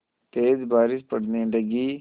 तेज़ बारिश पड़ने लगी